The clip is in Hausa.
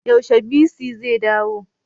Yaushe bc zai dawo?